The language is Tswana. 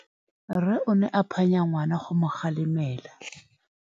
Rre o ne a phanya ngwana go mo galemela.